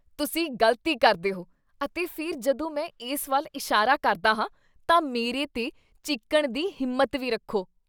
ਤੁਸੀਂ ਗ਼ਲਤੀ ਕਰਦੇ ਹੋ ਅਤੇ ਫਿਰ ਜਦੋਂ ਮੈਂ ਇਸ ਵੱਲ ਇਸ਼ਾਰਾ ਕਰਦਾ ਹਾਂ ਤਾਂ ਮੇਰੇ 'ਤੇ ਚੀਕਣ ਦੀ ਹਿੰਮਤ ਵੀ ਰੱਖੋ।